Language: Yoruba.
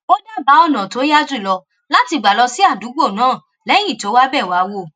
ó dábàá ònà tó yá jùlọ láti gbà lọ sí àdúgbò náà léyìn tó wá bẹ wá wò